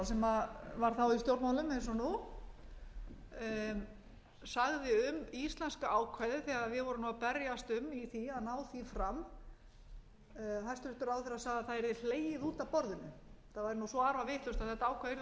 og nú sagði um íslenska ákvæðið þegar við vorum að berjast um í því að ná því fram hæstvirtur ráðherra sagði að það yrði hlegið út af borðinu það væri svo arfavitlaust að þetta ákvæði yrði bara hlegið út af borðinu það